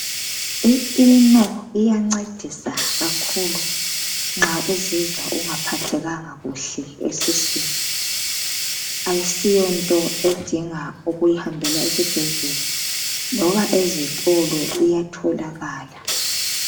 i eno iyancedisa kakhulu nxa uziwa ungaphathekanga kuhle esisweini asiyonto edinga ukuhanjelwa ezibhedlela loba ezitolo iyatholakala